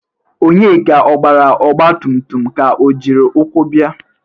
Onyeka ọ gbara ọgbatụmtụm ka o jiri ụkwụ bia?